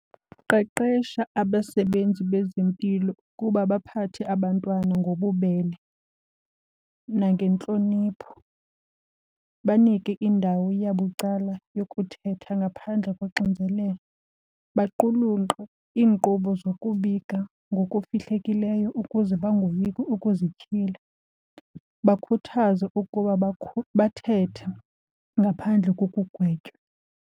Qeqesha abasebenzi bezempilo ukuba baphathe abantwana ngobubele nangentlonipho. Banike indawo yabucala yokuthetha ngaphandle koxinzelelo, baqulunqe iinkqubo zokubika ngokufihlekileyo ukuze bangoyiki ukuzityhila, bakhuthaze ukuba bathethe ngaphandle kokugwetywa.